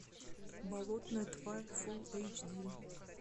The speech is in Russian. болотная тварь фул эйч ди